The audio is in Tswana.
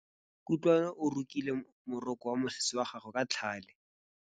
Kutlwanô o rokile morokô wa mosese wa gagwe ka tlhale.